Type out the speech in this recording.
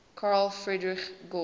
carl friedrich gauss